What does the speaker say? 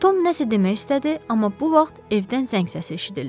Tom nəsə demək istədi, amma bu vaxt evdən zəng səsi eşidildi.